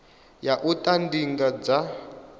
ya u ita ndingo dza